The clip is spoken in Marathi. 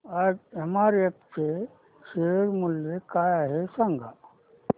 आज एमआरएफ चे शेअर मूल्य काय आहे सांगा